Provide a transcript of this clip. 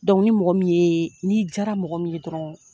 ni mɔgɔ min ye, ni jara mɔgɔ min ye dɔrɔn